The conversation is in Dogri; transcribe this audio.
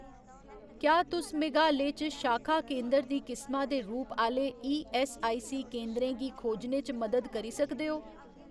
क्या तुस मेघालय च शाखा केंदर दी किसमा दे रूप आह्‌ले ईऐस्सआईसी केंदरें गी खोजने च मदद करी सकदे ओ